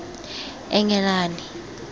englane